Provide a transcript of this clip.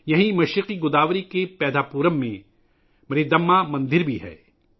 یہاں، مشرقی گوداوری کے پیدھاپورم میں، ماریدماّ مندر بھی ہے